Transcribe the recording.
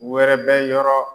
Wɛrɛ bɛ yɔrɔ